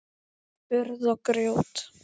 Urð og grjót.